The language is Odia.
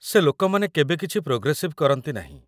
ସେ ଲୋକମାନେ କେବେ କିଛି ପ୍ରୋଗ୍ରେସିଭ୍ କରନ୍ତି ନାହିଁ ।